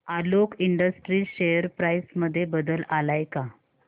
Alok Industries share price मध्ये बदल आलाय का